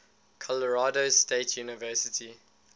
colorado state university